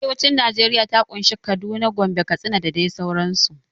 Arewacin najeriya ta ƙunshi Kaduna, Gombe, Katsina da dai sauran su